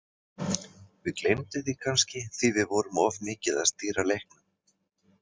Við gleymdum því kannski því við vorum of mikið að stýra leiknum.